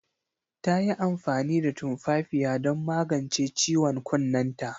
Ta yi amfani da tumfafiya don magance ciwon kunnenta.